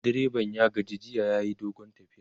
direban ya gaji jiya yayi dogon tafiya